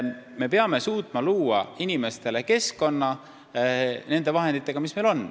Me peame suutma luua inimestele keskkonna nende vahenditega, mis meil on.